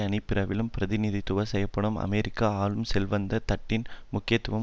அணிப் பிரிவாலும் பிரிதிநிதித்துவம் செய்யப்படும் அமெரிக்க ஆளும் செல்வந்த தட்டின் முக்கியத்துவம்